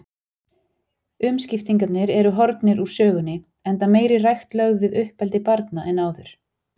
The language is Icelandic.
Umskiptingarnir eru horfnir úr sögunni, enda meiri rækt lögð við uppeldi barna en áður.